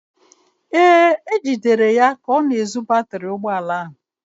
Ee, e jidere ya ka ọ na-ezu batịrị ụgbọala ahụ.